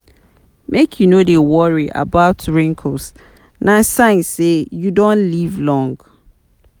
Make you no dey worry about wrinkles, na sign say you don live long.